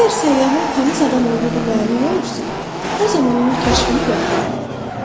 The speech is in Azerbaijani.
Əgər səyyahın təmiz adam olduğu məlum olursa, o zaman onun kəşfini yoxlayırlar.